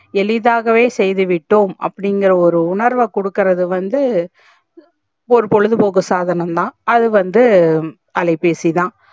எளிதாகவே செய்துவிட்டோம் அப்டி இங்குற ஒரு உணர்வ குடுக்குறது வந்து ஒரு பொழுது போக்கு சாதனம் தா அது வந்து அலைபேசி தா